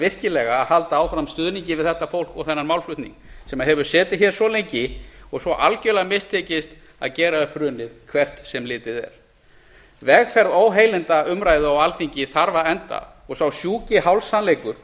virkilega að halda áfram stuðningi við þetta fólk og þennan málflutning sem hefur setið hér svo lengi og svo algerlega mistekist að gera upp hrunið hvert sem litið er vegferð óheilindaumræðu á alþingi þarf að enda og sá sjúki hálfsannleikur